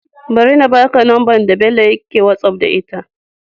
Bari na baka number da Bello yake whatsapp da ita